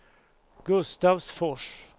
Gustavsfors